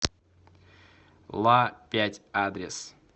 ла пять адрес